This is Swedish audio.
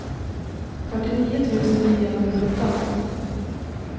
fyrtionio tusen niohundrasjutton